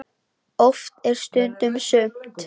Oft er stundum sumt.